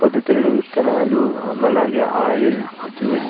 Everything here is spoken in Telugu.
పొద్దు తిరుగుడు విత్తనాలు అమ్ అలాగే ఆయిల్ జ్యూస్ --